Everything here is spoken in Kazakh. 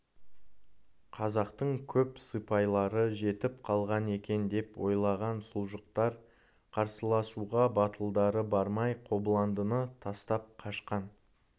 қазақтың көп сыпайлары жетіп қалған екен деп ойлаған сұлжықтар қарсыласуға батылдары бармай қобыландыны тастап қашқан